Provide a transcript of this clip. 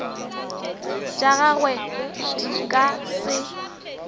tša gagwe di ka se